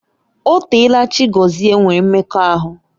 O teela Chiagozie nwere mmekọahụ